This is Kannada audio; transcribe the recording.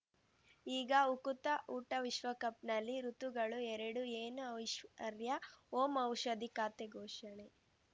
ಈಗ ಉಕುತ ಊಟ ವಿಶ್ವಕಪ್‌ನಲ್ಲಿ ಋತುಗಳು ಎರಡು ಏನು ಐಶ್ವರ್ಯಾ ಓಂ ಔಷಧಿ ಖಾತೆ ಘೋಷಣೆ